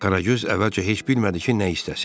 Qaragöz əvvəlcə heç bilmədi ki, nə istəsin.